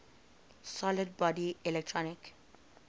solid body electric